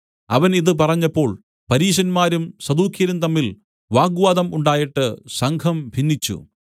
അവൻ ഇതു പറഞ്ഞപ്പോൾ പരീശന്മാരും സദൂക്യരും തമ്മിൽ വാഗ്വാദം ഉണ്ടായിട്ട് സംഘം ഭിന്നിച്ചു